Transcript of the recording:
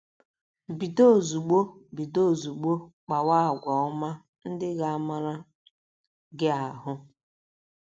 Bido ozugbo Bido ozugbo kpawa àgwà ọma ndị ga - amara gị ahụ́.